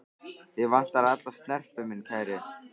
Þig vantar alla snerpu, minn kæri.